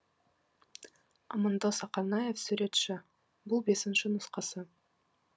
амандос ақанаев суретші бұл бесінші нұсқасы